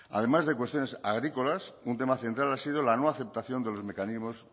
además de cuestiones agrícolas un tema central ha sido la no aceptación de los mecanismos